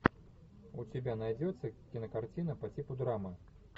у тебя найдется кинокартина по типу драмы